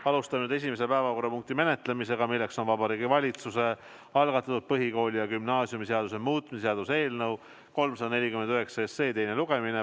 Alustame nüüd esimese päevakorrapunkti menetlemist, milleks on Vabariigi Valitsuse algatatud põhikooli- ja gümnaasiumiseaduse muutmise seaduse eelnõu 349 teine lugemine.